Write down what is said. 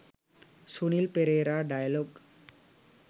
sunil perera dialog